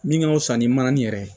Min ka fisa ni mananin yɛrɛ ye